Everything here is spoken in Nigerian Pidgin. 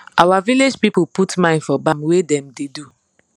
our village people put mind for bam wey dem da do